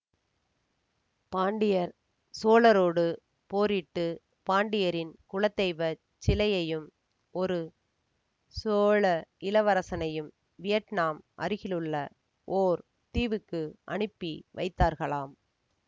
பாண்டியர் சோழரோடு போரிட்டு பாண்டியரின் குலதெய்வ சிலையையும் ஒரு சோழ இளவரசனையும் வியட்னாம் அருகிலுள்ள ஓர் தீவுக்கு அனுப்பி வைத்தார்களாம்